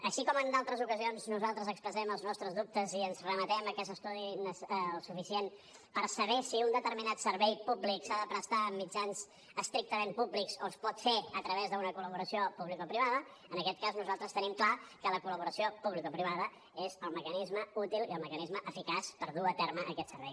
així com en altres ocasions nosaltres expressem els nostres dubtes i ens remetem a que s’estudiï el suficient per saber si un determinat servei públic s’ha de prestar amb mitjans estrictament públics o es pot fer a través d’una col·laboració publicoprivada en aquest cas nosaltres tenim clar que la col·laboració publicoprivada és el mecanisme útil i el mecanisme eficaç per dur a terme aquest servei